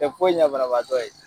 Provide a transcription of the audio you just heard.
Tɛ foyi ɲɛ banabaatɔ ye